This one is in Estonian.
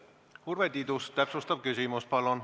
Urve Tiidus, täpsustav küsimus, palun!